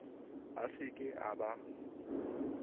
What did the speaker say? a se ke a ba